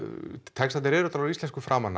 textarnir eru á íslensku fram